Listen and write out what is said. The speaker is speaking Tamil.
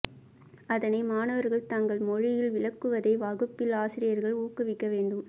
அதனை மாணவர்கள் தங்கள் மொழியில் விளக்குவதை வகுப்பில் ஆசிரியர்கள் ஊக்குவிக்க வேண்டும்